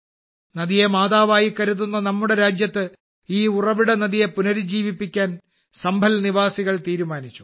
നദിയെ മാതാവായി കരുതുന്ന നമ്മുടെ രാജ്യത്ത് ഈ ഉറവിട നദിയെ പുനരുജ്ജീവിപ്പിക്കാൻ സംഭൽ നിവാസികൾ തീരുമാനിച്ചു